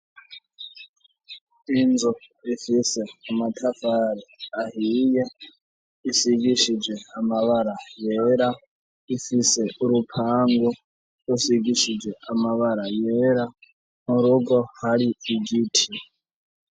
Inzu ifise amatavari ahiya isigishije amabara bera ifise urupangu rusigishije amabara yera mu rugo hari igiti.